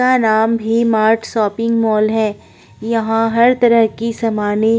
का नाम भी मार्ट शॉपिंग मॉल है। यहाँ हर तरह की सामानें --